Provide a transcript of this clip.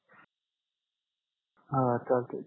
हा चालतंय